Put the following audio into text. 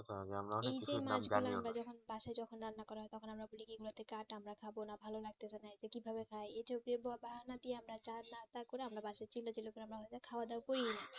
আমরা যখন বাসায় যখন রান্না করা হয় তখন আমরা বলি কি এগুলো তে কাটা আমরা খাবো না ভালো লাগতাছে না এইটা কি ভাবে খাই এই ঐতো বাহানা দিয়ে আমরা জানা তা করে আমরা বাসার ছেলে পেলে গুলো আমরা খাওয়া দাওয়া কি না